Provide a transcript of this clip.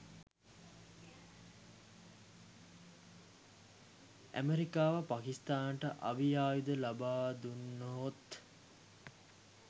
ඇමෙරිකාව පාකිස්තානයට අවි ආයුධ ලබාදුන්නහොත්